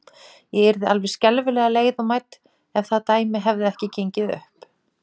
Ég yrði alveg skelfilega leið og mædd, ef það dæmi hefði ekki gengið upp.